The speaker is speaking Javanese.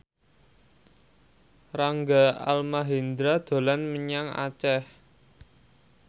Rangga Almahendra dolan menyang Aceh